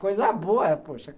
Coisa boa, poxa.